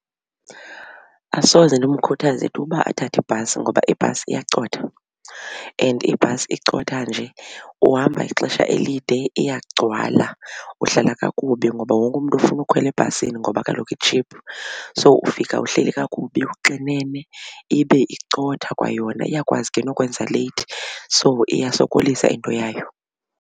Asoze ndimkhuthaze tu uba athathe ibhasi ngoba ibhasi iyacotha and ibhasi icotha nje uhamba ixesha elide, iyagcwala uhlala kakubi ngoba wonke umntu ufuna ukhwela ebhasini ngoba kaloku i-cheap. So ufika uhleli kakubi uxinene ibe icotha kwayona iyakwazi ke nokwenza late so iyasokolisa into yayo.